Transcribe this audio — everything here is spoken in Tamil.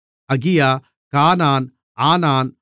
அகியா கானான் ஆனான்